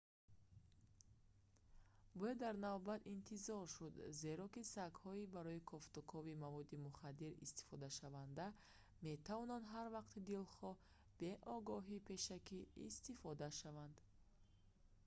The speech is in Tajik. бояд дар навбат интизор шуд зеро ки сагҳои барои кофтукови маводи мухаддир истифодашаванда метавонанд ҳар вақти дилхоҳ бе огоҳии пешакӣ истифода шаванд